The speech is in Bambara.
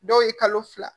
Dɔw ye kalo fila